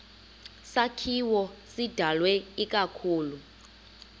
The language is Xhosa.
sakhiwo sidalwe ikakhulu